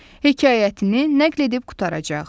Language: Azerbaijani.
Hekayətini nəql edib qurtaracaq.